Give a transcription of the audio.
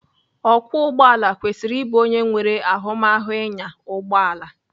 Ọkwọ ụgbọala kwesịrị ịbụ onye nwere ahụmahụ ịnya ụgbọala.